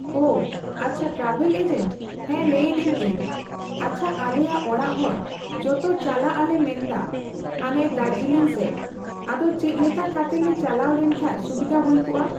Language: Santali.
ᱚ, ᱟᱪᱪᱷᱟ ᱴᱨᱟᱵᱷᱮᱞ ᱮᱡᱮᱱᱴ, ᱦᱮᱸ᱾ ᱞᱟᱹᱭᱫᱟᱹᱧ ᱤᱧ ᱟᱪᱪᱷᱟ ᱟᱞᱮᱭᱟᱜ ᱚᱲᱟᱜ ᱦᱚᱲ ᱡᱚᱛᱚ ᱪᱟᱞᱟᱜ ᱟᱞᱮ ᱢᱮᱱᱫᱟ ᱦᱟᱱᱮ ᱫᱟᱨᱡᱤᱞᱤᱝ ᱥᱮᱡ᱾ ᱟᱫᱚ ᱪᱮᱫᱞᱮᱠᱟ ᱠᱟᱛᱮ ᱞᱮ ᱪᱟᱞᱟᱣ ᱞᱮᱱᱠᱷᱟᱡ ᱥᱩᱵᱤᱫᱷᱟ ᱦᱩᱭ ᱠᱚᱜᱼᱟ?